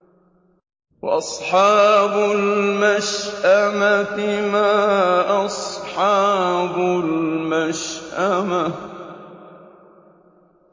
وَأَصْحَابُ الْمَشْأَمَةِ مَا أَصْحَابُ الْمَشْأَمَةِ